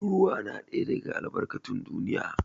Ruwa na ɗaya daga albarkatun duniya.